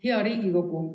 Hea Riigikogu!